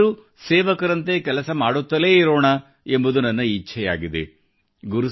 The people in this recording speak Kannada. ನಾವೆಲ್ಲರೂ ಸೇವಕರಂತೆ ಕೆಲಸ ಮಾಡುತ್ತಲೇ ಇರೋಣ ಎಂಬುದು ನನ್ನ ಇಚ್ಛೆಯಾಗಿದೆ